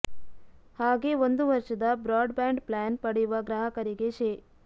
ಹಾಗೇ ಒಂದು ವರ್ಷದ ಬ್ರಾಡ್ ಬ್ಯಾಂಡ್ ಪ್ಲಾನ್ ಪಡೆಯುವ ಗ್ರಾಹಕರಿಗೆ ಶೇ